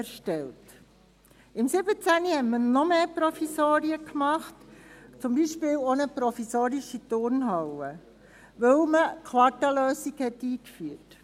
2017 erstellte man noch mehr Provisorien, zum Beispiel auch eine provisorische Turnhalle, weil man die Quarta-Lösung einführte.